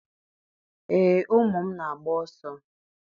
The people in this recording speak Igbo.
Ee, ụmụ m na-agba ọsọ.